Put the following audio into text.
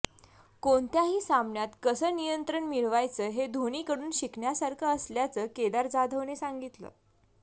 कोणत्याही सामन्यात कसं नियंत्रण मिळवायचं हे धोनीकडून शिकण्यासारखं असल्याचं केदार जाधवने सांगितलं